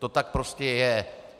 To tak prostě je!